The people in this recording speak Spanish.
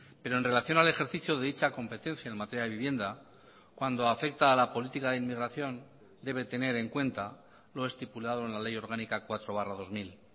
pero en relación al ejercicio de dicha competencia en materia de vivienda cuando afecta a la política de inmigración debe tener en cuenta lo estipulado en la ley orgánica cuatro barra dos mil